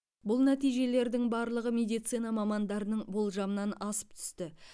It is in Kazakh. бұл нәтижелердің барлығы медицина мамандарының болжамынан асып түсті